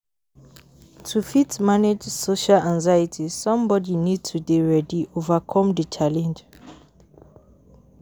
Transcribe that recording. To fit manage social anxiety somebody need to dey ready overcome di challenge